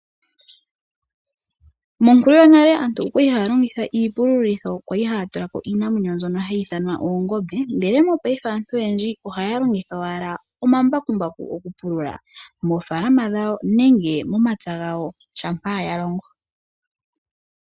Monkulu yonale aantu okwali ha longitha iipululitho kwali hatulako iinamwenyo nzono hayi ithanwa oongombe. Ndele mopaife aantu oyendji ohaya longitha owala omambakumbaku oku pulula ofaalama dhawo nenge momapya gawo shampa ya longo.